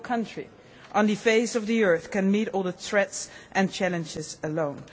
No country on the face of the earth can meet all the threats and challenges alone.